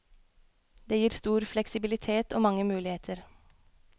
Det gir stor fleksibilitet og mange muligheter.